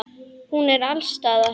Hún er alls staðar.